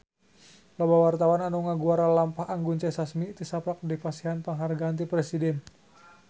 Loba wartawan anu ngaguar lalampahan Anggun C. Sasmi tisaprak dipasihan panghargaan ti Presiden